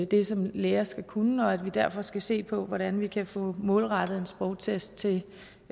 det som læger skal kunne og at vi derfor skal se på hvordan vi kan få målrettet en sprogtest til